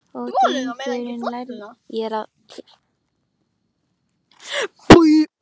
Og Drengur lærði þau og mundi og þekkti staðina